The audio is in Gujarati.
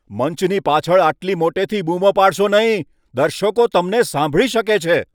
મંચની પાછળ આટલી મોટેથી બૂમો પાડશો નહીં. દર્શકો તમને સાંભળી શકે છે.